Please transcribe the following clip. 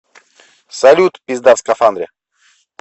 салют пизда в скафандре